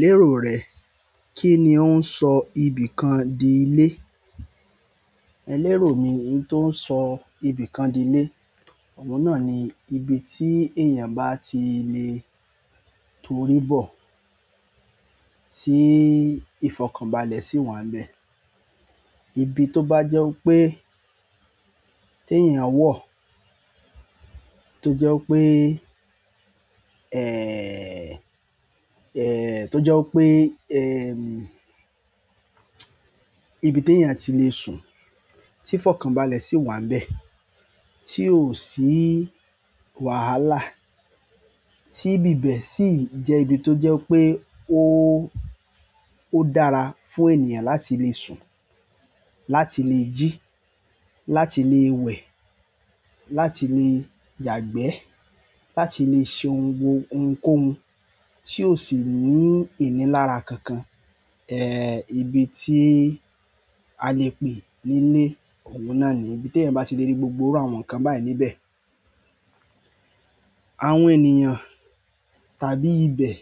Lérò rẹ̀ kí ni ó ń sọ ibìkan di ilé. Lérò mi ín tó ń sọ ibìkan di ilé, òun náà ni ibi tí èèyàn bá ti lè tórí bọ̀ tí ìfọ̀kànbalẹ̀ sì wà n bẹ́ẹ̀. Ibi tó bá jẹ́ pé tí èèyàn wọ̀ tó jẹ́ pé ibi tí èèyàn ti lè sùn, tí ìfọ̀kànbalẹ̀ sì wà n bẹ́ẹ̀, tí ó sì wàhálà, tí ibi bẹ́ẹ̀ sì jẹ́ ibi tó jẹ́ pé ó dára fún ènìyàn láti lè sùn, láti lè jí, láti lè wẹ̀, láti lè yàgbẹ́, láti lè ṣe ohun gbogbo ohunkóhun tí ó sì ní ìní lára kankan. Ibi tí a lè pè ní ilé, òun náà ni ibi tí ẹ̀yin bá ti lè rí gbogbo irú àwọn nǹkan báyìí níbẹ̀. Àwọn ènìyàn tàbí ibẹ̀,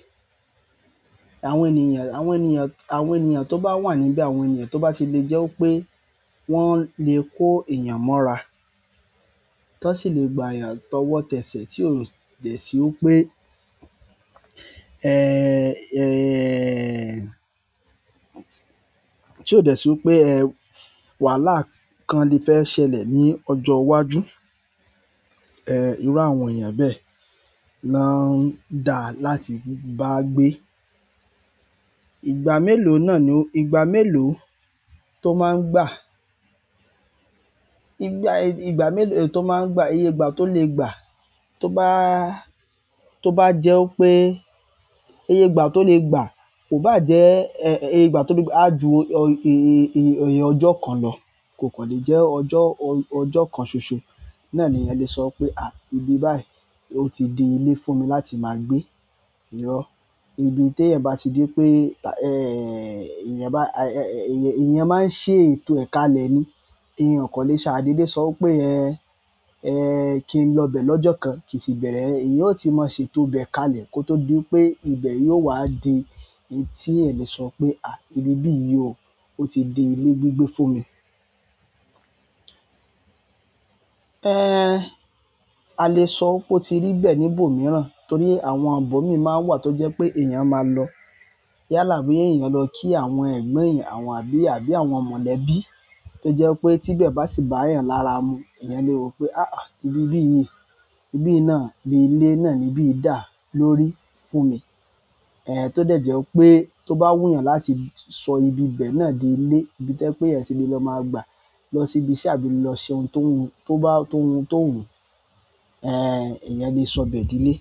àwọn ènìyàn tó bá wà níbẹ̀, àwọn ènìyàn tó bá ti lè jẹ́ pé wọ́n lè kó èèyàn mọ́ra, tan sì lè gba èèyàn tọwọ́tẹ̀sẹ̀ tí ó dẹ̀ sí pé tí ó dẹ̀ sí pé wàhálà kan lè fẹ́ ṣẹlẹ̀ ní ọjọ́ iwájú. Irú àwọn èèyàn bẹ́ẹ̀ na ń dà láti bá gbé. Ìgbà melo to ma n gba ìgbà, ìgbà mélòó tó máa ń gbà, iyègbà tó lè gbà tó bá, tó bá jẹ́ pé iyègbà tó lè gbà kò bá jẹ́, ẹ́ẹ́ iyègbà tó lè gbà á ju oyè ọjọ́ kan lọ, kò kan lè jẹ́ ọjọ́, ọjọ́ kan ṣoṣo. Náà ni ẹ̀yan lè sọ pé à íbi báyìí ó ti di ilé fún mi láti máa gbé irọ. Ibi tí ẹ̀yan bá ti dé pé, ẹ́ẹ́ èèyàn bá, èèyàn máa ń ṣe ètò ẹ̀ kalẹ́ ni. Ẹ̀yan o kan lè ṣa dédé sọ wí pé ẹ́ẹ́ ẹ́ẹ́ kí n ló bẹ̀ lọ́jọ́ kan kì í sì bẹ̀rẹ̀ ẹ́, eyan ó ti máa ṣe ètò bẹ̀ kalẹ̀ kó tó di wi pé ibẹ̀ yóò wá di tí ẹ̀ lè sọ pé à ìbíbi yìí ò ó ti di ilé gbígbé fún mi. Ẹ́ẹ́ a lè sọ pé ó ti rí bẹ̀ níbò mìíràn torí àwọn ibo mii máa ń wà tó jẹ́ pé èèyàn máa lọ yálà bí èèyàn lọ kí àwọn ẹ̀gbọ́n èèyàn àbí àbí àwọn mọ̀lẹ́bí tó jẹ́ pé tí bẹ̀ bá sì bá èèyàn lára mu, èèyàn lè wo pé àáà ìbíbi yìí, ìbí náà bí ilé náà níbí dà lórí fún mi. Ẹ̀ tó dẹ̀ jẹ́ pé tó bá wù èèyàn láti sọ ibi bẹ́ẹ̀ náà di ilé, ibi tí o jẹ́ pé ẹ̀yan ti lè lọ máa gbà lọ sí ibi iṣẹ́ àbí lọ se ohun tó wu tó bá tó hun tó wu. Ẹ̀ èèyàn lè sọ bẹ̀ di ilé.